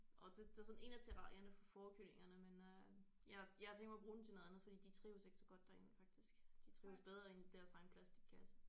Og det det er sådan en af terrarierne for fårekyllingerne men øh jeg jeg har tænkt mig at bruge den til noget andet fordi de trives ikke så godt derinde faktisk de trives bedre inde i deres egen plastikkasse